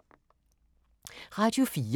Radio 4